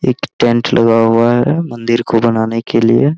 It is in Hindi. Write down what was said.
एक टेंट लगा हुआ है मंदिर को बनाने के लिए --